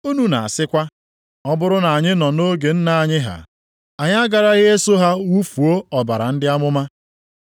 Unu na-asịkwa, ọ bụrụ na anyị nọ nʼoge nna anyị ha, anyị agaraghị eso ha wufuo ọbara ndị amụma.